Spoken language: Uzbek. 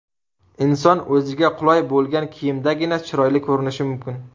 Inson o‘ziga qulay bo‘lgan kiyimdagina chiroyli ko‘rinishi mumkin.